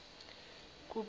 kupeter